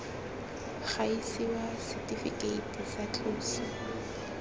ga isiwa setifikeiti tsa tloso